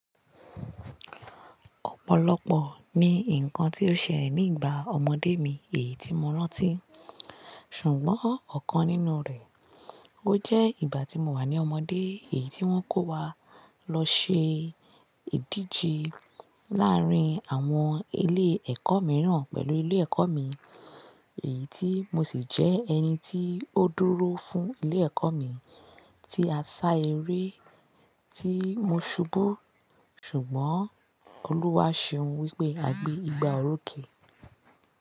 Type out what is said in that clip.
Ọ̀pọ̀lọpọ̀ ni nǹkan tó ṣẹlẹ̀ ní ìgbà ọmọdé mi èyí tí mo rántí, ṣùgbọ́n ọ̀kan nínú rẹ̀, ó jẹ́ ìgbà tí mo wà ní ọmọdé èyí tí wọ́n kó wa lọ ṣe ìdíje láàrín àwọn ilé ẹ̀kọ́ mìíràn pẹ̀lú ilé ẹ̀kọ́ mi, èyí tí mo sì jẹ́ ẹni tí ó dúró fún ilé ẹ̀kọ́ mi tí a sá eré tí mo ṣubú, ṣùgbọ́n Olúwa ṣe ohun wípé a gbé igba òrókè.